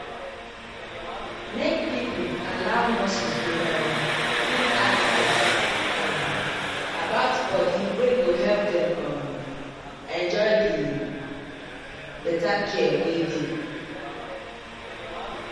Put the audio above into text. make people allow nurses dey um give advice um about body wey go help dem um enjoy the better care wey dey.